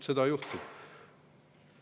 Seda juhtub.